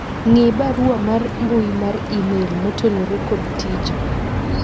ng'i barua mar mbui mar email motenore kod tija